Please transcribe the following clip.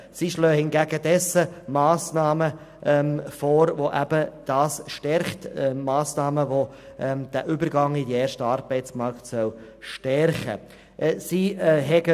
Hingegen schlagen sie Massnahmen vor, die den Übergang in den ersten Arbeitsmarkt stärken sollen.